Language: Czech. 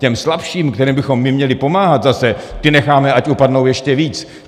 Těm slabším, kterým bychom my měli pomáhat zase, ty necháme, ať upadnou ještě víc.